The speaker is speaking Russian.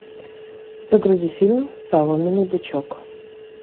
загрузи фильм соломенный бычок